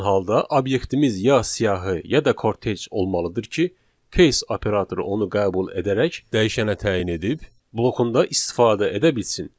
Belə olan halda obyektimiz ya siyahı, ya da kortec olmalıdır ki, case operatoru onu qəbul edərək dəyişənə təyin edib blokunda istifadə edə bilsin.